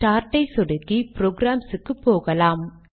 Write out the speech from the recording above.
start ஐ சொடுக்கி programs க்கு போகலாம்